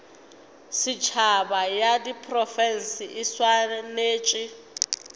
setšhaba ya diprofense e swanetše